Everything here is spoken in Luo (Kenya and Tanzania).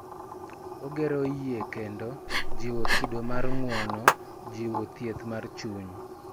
Ogero yie kendo, jiwo kido mar ng�uono, jiwo thieth mar chuny,